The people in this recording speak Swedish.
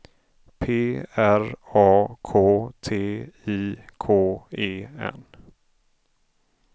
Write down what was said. P R A K T I K E N